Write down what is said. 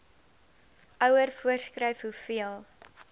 ouer voorskryf hoeveel